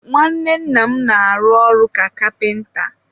nwanne nna m na-arụ ọrụ ka kapịnta.